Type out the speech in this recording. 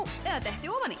eða detti ofan í